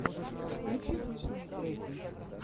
включи смешные треки